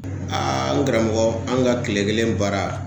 Aa n karamɔgɔ an ga tile kelen baara